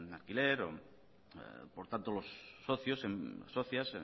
alquiler por tanto los socios socias